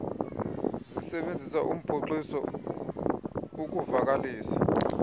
zisebenzisa uphoxiso ukuvakalisa